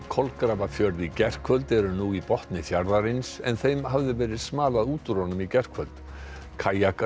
Kolgrafafjörð í gærkvöld eru nú í botni fjarðarins en þeim hafði verið smalað úr firðinum í gærkvöld